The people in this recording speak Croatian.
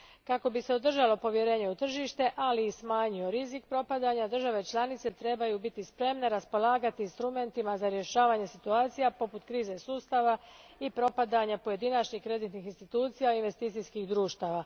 Kako bi se održalo povjerenje u tržište, ali i smanjio rizik propadanja, države članice trebaju biti spremne raspolagati instrumentima za rješavanje situacija poput krize sustava i propadanja pojedinačnih kreditnih institucija i fizičkih društava.